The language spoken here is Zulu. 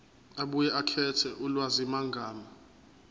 abuye akhethe ulwazimagama